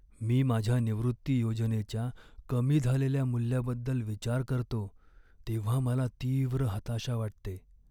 मी माझ्या निवृत्ती योजनेच्या कमी झालेल्या मूल्याबद्दल विचार करतो तेव्हा मला तीव्र हताशा वाटते.